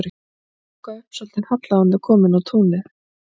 Þau þurfa að ganga upp svolítinn halla áður en þau koma inn á túnið.